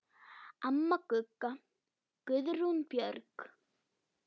Amma Gugga, Guðrún Björg.